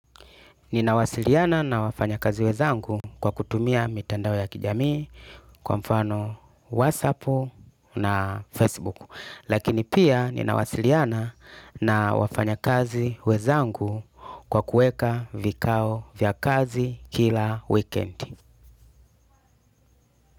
Ninawasiliana na wafanya kazi wenzangu kwa kutumia mitandao ya kijami, kwa mfano WhatsApp na Facebook. Lakini pia ninawasiliana na wafanya kazi wezangu kwa kueka vikao vya kazi kila weekend.